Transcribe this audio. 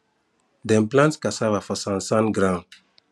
dem plant cassava for sand sand ground